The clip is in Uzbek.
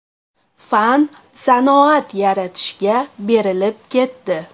Fan sanoat yaratishga berilib ketdi.